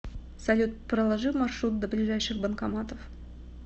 салют проложи маршрут до ближайших банкоматов